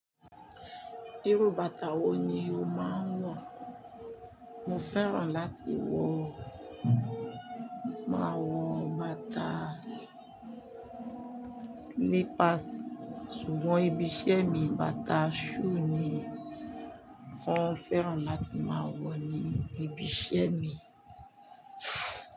Irú bàtà wo ni o máa ń wọ̀? Mo fẹ́ràn láti wọ, máa wọ bàtà slippers, ṣùgbọ́n ibi iṣẹ́ mi bàtà shoe ni wọ́n fẹ́ràn láti máa wọ̀ ní ibi iṣẹ́ mi.